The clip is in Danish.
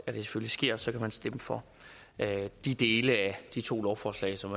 sker så kan man stemme for de dele af de to lovforslag som